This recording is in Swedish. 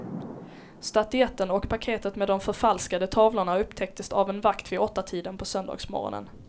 Statyetten och paketet med de förfalskade tavlorna upptäcktes av en vakt vid åttatiden på söndagsmorgonen.